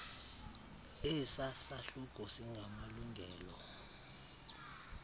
esa sahluko singamalungelo